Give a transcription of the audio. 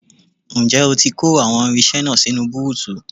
Ǹjẹ́ ó ti kó àwọn irinṣẹ́ náà sínú búùtù?